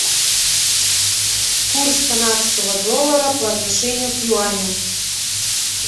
курс канадского доллара по отношению к юаню